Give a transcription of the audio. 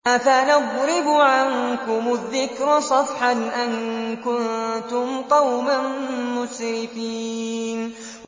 أَفَنَضْرِبُ عَنكُمُ الذِّكْرَ صَفْحًا أَن كُنتُمْ قَوْمًا مُّسْرِفِينَ